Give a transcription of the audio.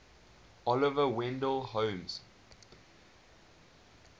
oliver wendell holmes